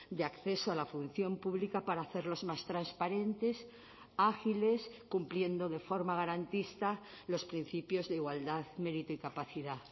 de acceso a la función pública para hacerlos más transparentes ágiles cumpliendo de forma garantista los principios de igualdad mérito y capacidad